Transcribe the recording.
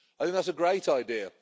That's a great idea.